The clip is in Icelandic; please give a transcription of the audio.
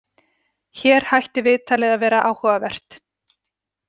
Hér hætti viðtalið að vera áhugavert.